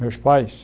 Meus pais?